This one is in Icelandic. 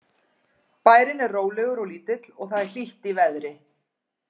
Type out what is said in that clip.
Bærinn er rólegur og lítill og það er hlýtt í veðri.